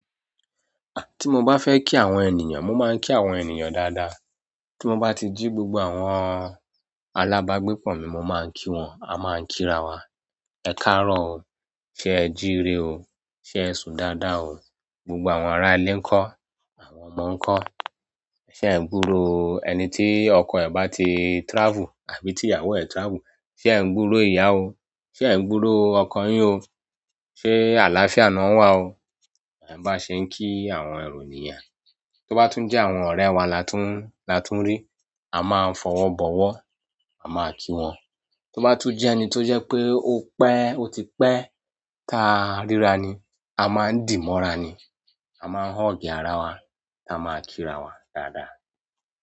Ah! Tí mo bá fẹ́ kí àwọn ènìyàn, mo máa ń kí àwọn ènìyàn dáadáa. Tí mo bá ti jí gbogbo àwọn alábágbépọ̀ mi, mo máa ń kí wọn, a máa ń kírawa, "Ẹ káàárọ̀ o, ṣé ẹ jíire o, ṣé ẹ sùn dáadáa o", gbogbo àwọn ará ilé nkọ́? Àwọn ọmọ ńkọ́? "Ṣé ẹ ń gbúròó", ẹni tí ọkọ ẹ̀ bá ti travel àbí tí ìyàwó ẹ travel, "ṣé ẹ ń gbúròó ìyà ó? Ṣé ẹ ń gbúròó ọkọ yín o? Ṣé àlàáfíà ni won wà o?" Ba se kin àwọn ero ni yen tó bá tún jẹ́ àwọn ọ̀rẹ́ wa la tún, la tún rí, a máa ń fọ̀wọ́ bọ̀wọ́, a máa kí wọn. Tó bá tún jẹ́ ẹni tó jẹ́ pé ó pẹ́, ó ti pẹ́ ta rírà ni, a máa ń dì mọ́ra ni, a máa ń hug àrá wa, ta máa kírawa dáadáa.